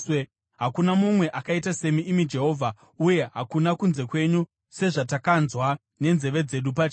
“Hakuna mumwe akaita semi, imi Jehovha, uye hakuna Mwari kunze kwenyu, sezvatakanzwa nenzeve dzedu pachedu.